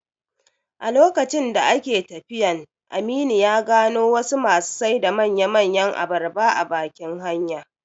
A lokacin da ake tafiyan, Aminu ya gano wasu masu sai da manya manyan abarba a bakin hanya